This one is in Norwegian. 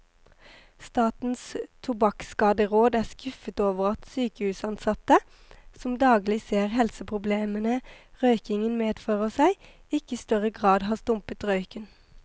Statens tobakkskaderåd er skuffet over at sykehusansatte, som daglig ser helseproblemene røykingen fører med seg, ikke i større grad har stumpet røyken.